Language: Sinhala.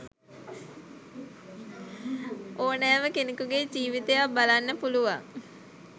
ඕනෑම කෙනෙකුගේ ජීවිතයක් බලන්න පුළුවන්.